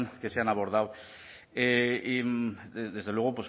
que se han abordado desde luego